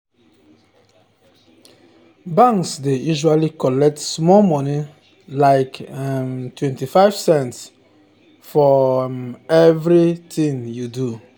di grandchildren receive big money from their great-grandparents wey their great-grandparents wey sabi invest well.